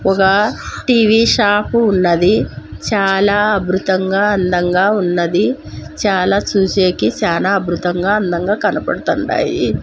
ఒగ TV shop ఉన్నది చాలా అబృతంగా అందంగా ఉన్నది చాలా చూసేకి చానా అబృతంగా అందంగా కనబడతాండాయి.